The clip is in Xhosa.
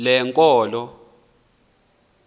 lenkolo